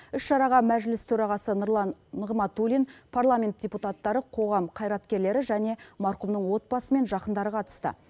іс шараға мәжіліс төрағасы нұрлан нығматулин парламент депутаттары қоғам қайраткерлері және марқұмның отбасы мен жақындары қатысты